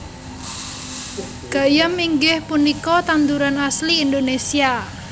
Gayam inggih punika tanduran asli Indonesia